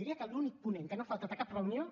diria que l’únic ponent que no ha faltat a cap reunió